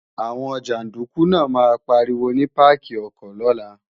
Àwọn jàndúkú náà máa pariwo ní páàkì ọkọ̀ lọ́la